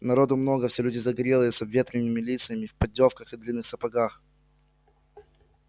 народу много все люди загорелые с обветренными лицами в поддёвках и длинных сапогах